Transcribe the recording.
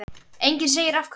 Enginn segir af hverju.